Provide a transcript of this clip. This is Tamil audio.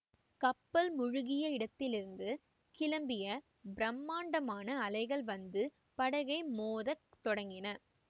கப்பல் முழுகிய இடத்திலிருந்து கிளம்பிய பிரம்மாண்டமான அலைகள் வந்து படகை மோதத் தொடங்கின